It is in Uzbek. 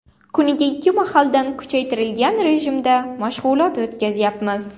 Kuniga ikki mahaldan kuchaytirilgan rejimda mashg‘ulot o‘tkazyapmiz.